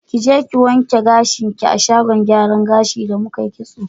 Kije ki wanke gashin ki a shagon gyaran gashin da mukai kitso